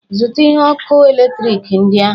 Zụta ihe ọkụ eletrik ndị ahụ!